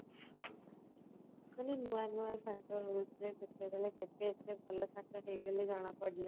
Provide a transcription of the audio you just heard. ନୂଆ ନୂଆ ସାଙ୍ଗ ହେଉଥିଲେ କେତେବେଳେ କେବେ ଏତେ ଭଲ ସାଙ୍ଗ ହେଇଗଲେ ଜଣା ବି ପଡିଲାନି